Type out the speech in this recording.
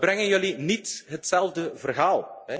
Frankrijk. Toch brengen jullie niet hetzelfde